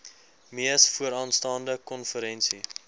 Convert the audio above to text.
mees vooraanstaande konferensie